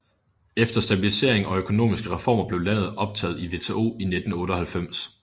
Efter stabilisering og økonomiske reformer blev landet optaget i WTO i 1998